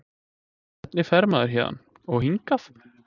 Hvernig fer maður héðan. og hingað??